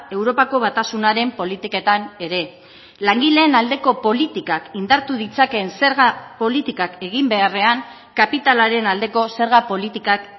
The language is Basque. europako batasunaren politiketan ere langileen aldeko politikak indartu ditzakeen zerga politikak egin beharrean kapitalaren aldeko zerga politikak